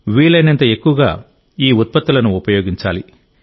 వీలైనంత ఎక్కువగా ఈ ఉత్పత్తులను ఉపయోగించాలి